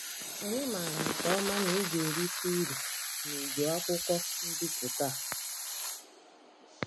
Anyị mara nke ọma na ị ga-erite uru n'ịgụ akwụkwọ mbipụta a.